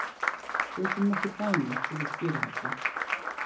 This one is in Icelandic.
Tökum nokkur dæmi til að skýra þetta.